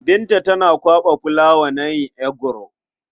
Binta tana kwaɓa fulawa na yin eguro.